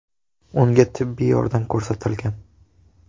Unga tibbiy yordam ko‘rsatilgan.